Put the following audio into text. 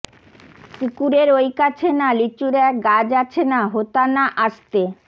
পুকুরের ঐ কাছে না লিচুর এক গাছ আছে না হোথা না আস্তে